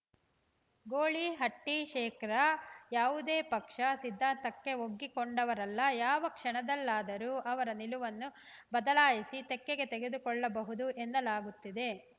ಗೊಳಿಹಟ್ಟಿಶೇಖರ ಯಾವುದೇ ಪಕ್ಷ ಸಿದ್ದಾಂತಕ್ಕೆ ಒಗ್ಗಿಕೊಂಡವರಲ್ಲ ಯಾವ ಕ್ಷಣದಲ್ಲಾದರೂ ಅವರ ನಿಲುವನ್ನು ಬದಲಾಯಿಸಿ ತೆಕ್ಕೆಗೆ ತೆಗೆದುಕೊಳ್ಳಬಹುದು ಎನ್ನಲಾಗುತ್ತಿದೆ